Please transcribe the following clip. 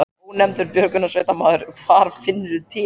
Ónefndur björgunarsveitarmaður: Hvar finnurðu til?